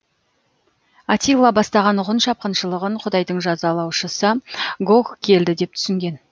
атилла бастаған ғұн шапқыншылығын құдайдың жазалаушысы гог келді деп түсінген